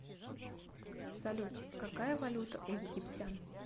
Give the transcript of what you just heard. салют какая валюта у египтян